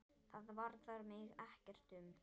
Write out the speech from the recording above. Það varðar mig ekkert um.